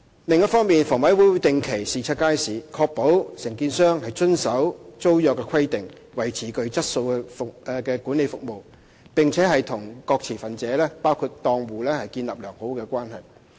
另一方面，房委會會定期視察街市，確保承租商遵守租約規定、維持具質素的管理服務，並且與各持份者建立良好關係。